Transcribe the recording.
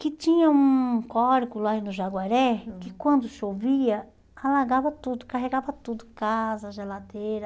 Que tinha um cólico lá no Jaguaré, que quando chovia, alagava tudo, carregava tudo, casa, geladeira.